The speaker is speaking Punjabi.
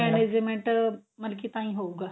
management ਮਤਲਬ ਕੀ ਤਾਂਹੀ ਹੋਊਗਾ